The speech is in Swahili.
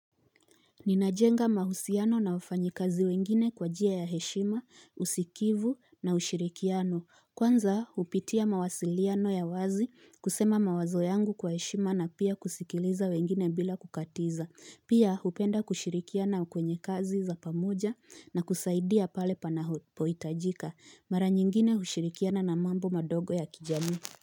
Ninajenga mahusiano na wafanyikazi wengine kwa jia ya heshima, usikivu na ushirikiano. Kwanza, hupitia mawasiliano ya wazi kusema mawazo yangu kwa heshima na pia kusikiliza wengine bila kukatiza. Pia, hupenda kushirikiana kwenye kazi za pamoja na kusaidia pale panapohitajika. Mara nyingine hushirikiana na mambo madogo ya kijami.